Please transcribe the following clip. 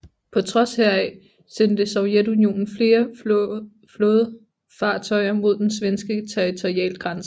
På trods heraf sendte Sovjetunionen flere flåde fartøjer mod den svenske territorialgrænnse